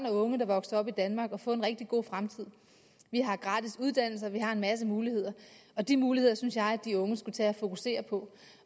og unge der vokser op i danmark at få en rigtig god fremtid vi har gratis uddannelser vi har en masse muligheder og de muligheder synes jeg at de unge skulle tage at fokusere på